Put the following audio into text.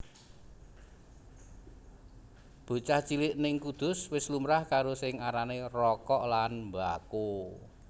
Bocah cilik ning Kudus wis lumrah karo sing arane rokok lan mbako